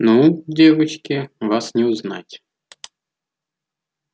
ну девочки вас не узнать